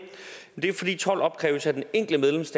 er jo fordi told opkræves af den enkelte